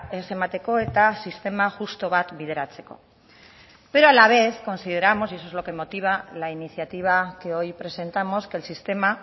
ez emateko eta sistema justu bat bideratzeko pero a la vez consideramos y eso es lo que motiva la iniciativa que hoy presentamos que el sistema